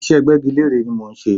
Ìṣe gbẹ́gilére ni mò ń ṣe.